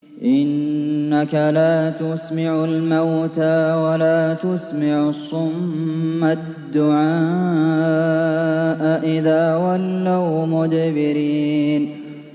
إِنَّكَ لَا تُسْمِعُ الْمَوْتَىٰ وَلَا تُسْمِعُ الصُّمَّ الدُّعَاءَ إِذَا وَلَّوْا مُدْبِرِينَ